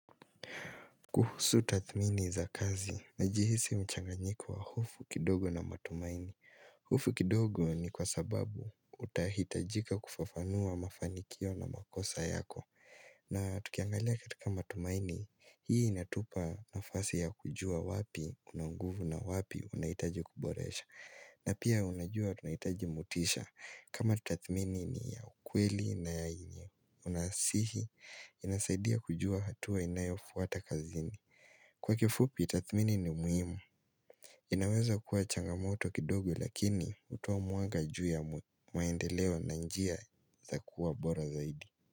Kuhusu tathmini za kazi, najihisi mchanganyiko wa hofu kidogo na matumaini. Hofu kidogo ni kwa sababu utahitajika kufafanua mafanikio na makosa yako. Na tukiangalia katika matumaini, hii inatupa nafasi ya kujua wapi una nguvu na wapi unahitaji kuboresha. Na pia unajua tunahitaji motisha kama tathmini ni ya ukweli na yenye. Unasihi, inasaidia kujua hatua inayofuata kazini Kwa kifupi, tathmini ni muhimu inaweza kuwa changamoto kidogo lakini hutoa mwanga juu ya maendeleo na njia za kuwa bora zaidi.